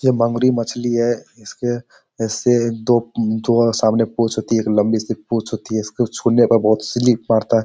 यह बांगुड़ी मछली है इसके ऐसे दो सामने एक पूंछ होती है एक लंबी सी पूंछ होती है इसके छुने पर बहुत स्लिप मारता है।